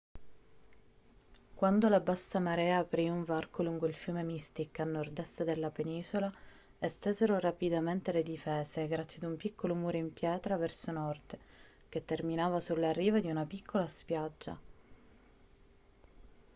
quando la bassa marea aprì un varco lungo il fiume mystic a nord-est della penisola estesero rapidamente le difese grazie ad un piccolo muro in pietra verso nord che terminava sulla riva di una piccola spiaggia